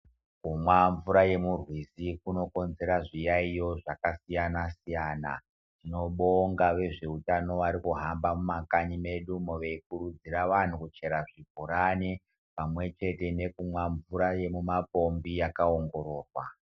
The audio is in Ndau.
Kumwa mvura yemurwizi kunokonzera zviyaiyo zvakasiyana-siyana. Tinobonga vezveutano varikuhamba mumakanyi medu umo veikurudzira vanhu kuchera zvibhorani pamwechete nekumwa mvura yemumapombi yakaongororwa.